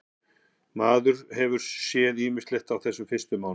Maður hefur séð ýmislegt á þessum fyrstu mánuðum.